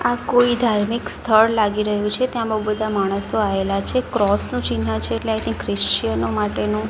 આ કોઈ ધાર્મિક સ્થળ લાગી રહ્યું છે ત્યાં બૌ બધા માણસો આયેલા છે ક્રોસ નું ચિન્હ છે એટલે આઈ થીંક ક્રિશ્ચયનો માટેનું--